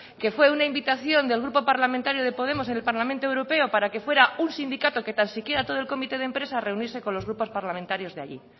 que fue una invitación del grupo parlamentario de podemos en el parlamento europeo para que fuera un sindicato que tan siquiera todo el comité de empresa a reunirse con los parlamentarios de allí